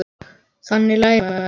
Þannig lærir maður.